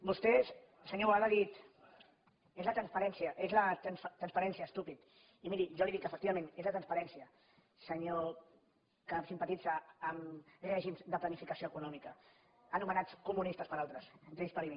vostè senyor boada ha dit és la transparència estúpids i miri jo li que dic efectivament és la transparència senyor que simpatitza amb règims de planificació econòmica anomenats comunistes per altres entre ells per mi